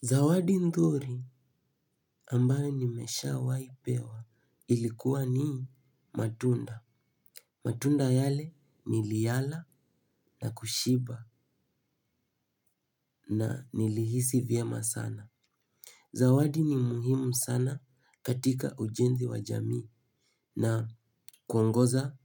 Zawadi nzuri ambayo nimeshawahi pewa ilikuwa ni matunda. Matunda yale niliyala na kushiba na nilihisi vyema sana. Zawadi ni muhimu sana katika ujenzi wa jamii na kuongoza